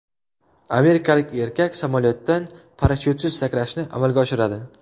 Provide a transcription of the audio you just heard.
Amerikalik erkak samolyotdan parashyutsiz sakrashni amalga oshiradi.